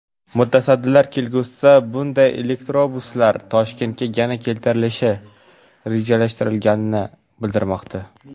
Mutasaddilar kelgusida bunday elektrobuslar Toshkentga yana keltirilishi rejalashtirilganini bildirmoqda.